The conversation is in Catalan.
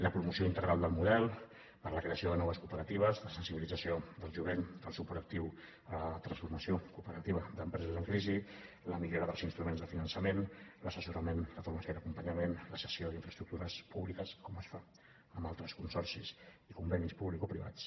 la promoció integral del model per a la creació de noves cooperatives la sensibilització del jovent el suport actiu a la transformació cooperativa d’empreses en crisi la millora dels instruments de finançament l’assessorament la formació i l’acompanyament la cessió d’infraestructures públiques com es fa amb altres consorcis i convenis publicoprivats